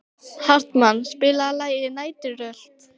Hartmann, spilaðu lagið „Næturrölt“.